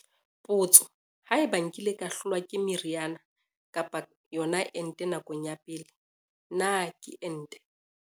Potso- Haeba nkile ka hlolwa ke meriana kapa yona ente nakong ya pele, na ke ente?